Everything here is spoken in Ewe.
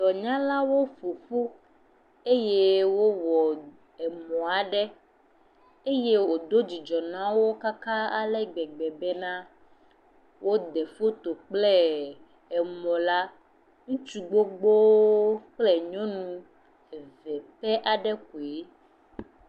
Dɔnyalaow ƒoƒu eye wowɔ emɔ aɖe eye wodo dzidzɔ na wo katã ale gbegbe be na, woɖe foto kple emɔ la. Ŋutsu gbogbowo kple nyɔnu eve pe aɖe koe.